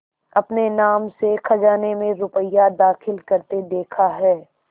अपने नाम से खजाने में रुपया दाखिल करते देखा है